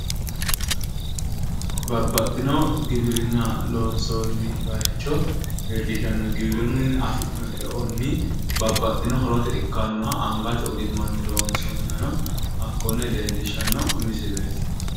babbaxino giwirinna loonsoonni baayiicho leellishanno giwirinnunni afi'noonni eonni babbxino horote ikkannoha angate ogimmanni loonsoonnihano hakkonne leellishshanno misileeti.